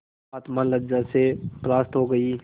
आत्मा लज्जा से परास्त हो गयी